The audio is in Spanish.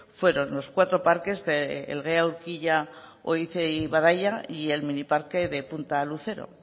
fueron los cuatro parques de elgea urkilla oiz y badaia y el miniparque de punta lucero